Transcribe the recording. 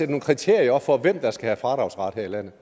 nogle kriterier op for hvem der skal have fradragsret her i landet